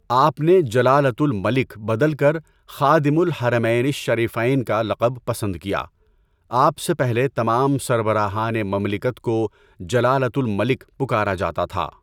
آپ نے "جلالةُ المَلِك" بدل كر خادمُ الحَرَمَيْنِ الشَّرِيْفَيْن" كا لقب پسند کیا۔ آپ سے پہلے تمام سربراہانِ مملكت كو "جلالة الملك" پكارا جاتا تها۔